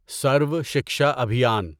سروا Shiksha ابھیان